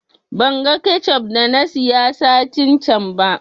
Ban gan kechup da na siya satin can ba